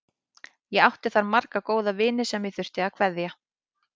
Ég átti þar marga góða vini sem ég þurfti að kveðja.